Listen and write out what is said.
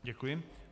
Děkuji.